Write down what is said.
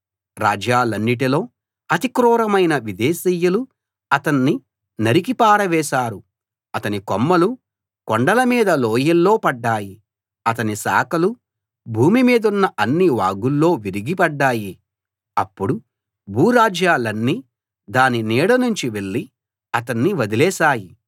రాజ్యాలన్నిటిలో అతి క్రూరమైన విదేశీయులు అతన్ని నరికి పారవేశారు అతని కొమ్మలు కొండల మీద లోయల్లో పడ్డాయి అతని శాఖలు భూమి మీదున్న అన్ని వాగుల్లో విరిగి పడ్డాయి అప్పుడు భూరాజ్యాలన్నీ దాని నీడనుంచి వెళ్లి అతణ్ణి వదిలేశాయి